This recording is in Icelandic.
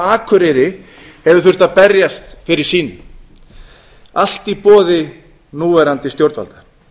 akureyri hefur þurft að berjast fyrir sínu allt í boði núverandi stjórnvalda